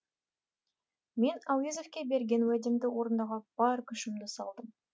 мен әуезовке берген уәдемді орындауға бар күшімді салдым